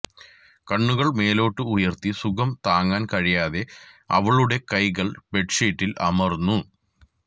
കണ്ണുകൾ മേലോട്ട് ഉയർത്തി സുഖം താങ്ങാൻ കഴിയാതെ അവളുടെ കൈകൾ ബെഡ്ഷീറ്റിൽ അമർന്നു